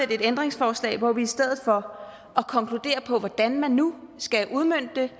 et ændringsforslag hvor vi i stedet for at konkludere på hvordan man nu skal udmønte det